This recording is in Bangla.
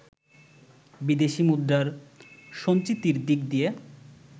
বিদেশি মুদ্রার সঞ্চিতির দিক দিয়ে